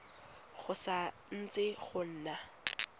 go sa ntse go na